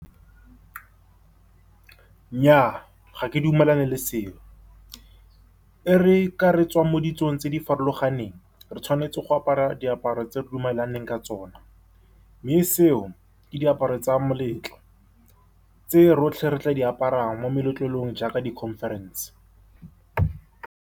Nnyaa, ga ke dumelane le seo. E re ka re tswa mo ditsong tse di farologaneng, re tshwanetse go apara diaparo tse di re dumalaneng ka tsona. Mme seo ke diaparo tsa moletlo tse rotlhe re tla di aparang mo meletlelong jaaka di-conference-e.